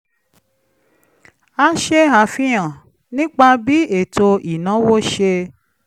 ó ṣe àfihàn nípa bí ètò ìnáwó ṣe